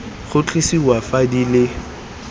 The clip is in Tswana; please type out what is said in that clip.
go tlosiwa fa di le